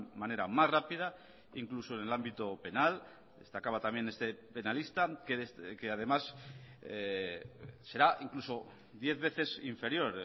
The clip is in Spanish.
manera más rápida incluso en el ámbito penal destacaba también este penalista que además será incluso diez veces inferior